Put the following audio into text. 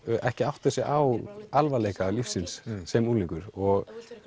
ekki átta sig á alvarleika lífsins sem unglingur og